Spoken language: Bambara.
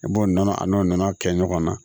I b'o nɔnɔ a n'o nɔnɔ kɛ ɲɔgɔnna